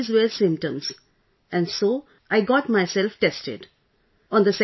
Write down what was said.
I felt that these were symptoms and so I got myself tested